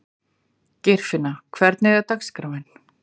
Geirfinna, hvernig er dagskráin?